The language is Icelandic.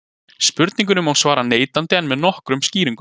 spurningunni má svara neitandi en með nokkrum skýringum